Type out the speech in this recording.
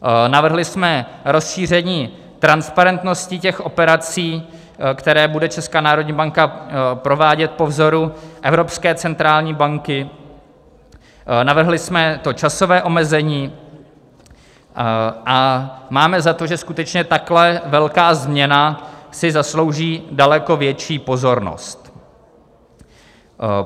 Navrhli jsme rozšíření transparentnosti těch operací, které bude Česká národní banka provádět po vzoru Evropské centrální banky, navrhli jsme to časové omezení a máme za to, že skutečně takhle velká změna si zaslouží daleko větší pozornost.